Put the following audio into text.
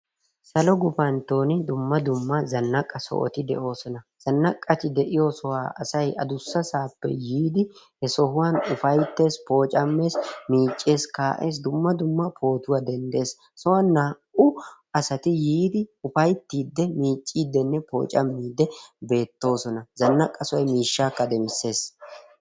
Salo gupantton dumma dumma zannaqqa sohoti de'oosona. zannaqqati de'iyo sohuwa asay addussasappe yiidi he sohuwan ufayttees pooccamees, miiccees kaa'ees dumma dumma potuwa denddees, he sohuwan naa''u asati yiidi upayttide miiccidenne pooccamide beettoosona. Zannaqqa sohoy miishshakka demmissees.